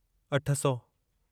अठ सौ